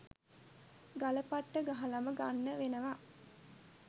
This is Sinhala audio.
ගල පට්ට ගහලම ගන්න වෙනවා